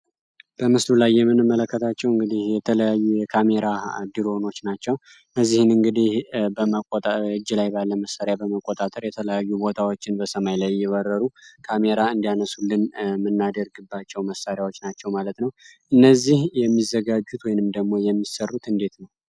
በምስሉ ላይ የምን መለከታቸው እንግዲህ የተለያዩ የካሜራ ድሮኖች ናቸው። በዚህም እንግዲህ በእጅ ላይ ባለ መሣሪያ በመቆጣጠር የተለያዩ ቦታዎችን በሰማይ ላይ እየበረሩ ካሜራ እንዲያነሱልን ምናድርግባቸው መሳሪያዎች ናቸው ማለት ነው። እነዚህ የሚዘጋጁት ወይንም ደግሞ የሚሰሩት እንዴት ነው?